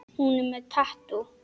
Hún er með tattú.